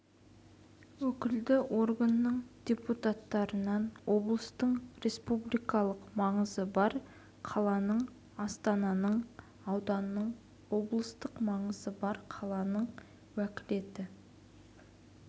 өкілді органның депутаттарынан облыстың республикалық маңызы бар қаланың астананың ауданның облыстық маңызы бар қаланың уәкілетті